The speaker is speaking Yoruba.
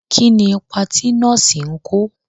Kí ni ipa tí nọ́ọ̀sì ń kò?